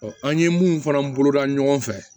an ye mun fana bolo da ɲɔgɔn fɛ